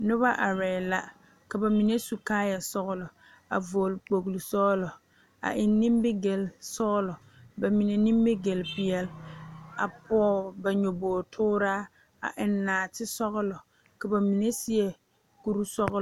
Nona arɛɛ la a ba mime su kaayɛ sɔgelɔ a vɔgele kpogle sɔgelɔ a eŋ nimigele sɔgelɔ ba mine nimigele peɛle a pɔge ba nyɔboo tooraa a eŋ naate sɔgelɔ ka ba mine seɛ kuri sɔglɔ